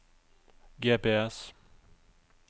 GPS